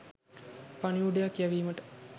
පණිවුඩයක් යැවීමට